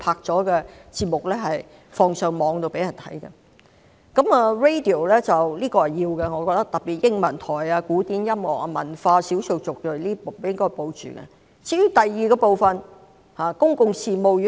在電台方面，我覺得有需要繼續營辦，特別是英文台、古典音樂、文化、少數族裔頻道，應該予以保留。